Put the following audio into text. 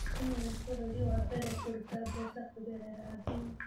Kenya nĩ bũrũri wa mbere kũruta mbeca kũgerera thimũ.